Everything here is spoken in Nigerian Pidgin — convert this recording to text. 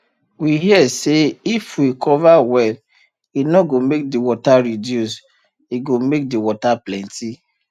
we hear say if we cover well e no go make the water reduce e go make the water plenty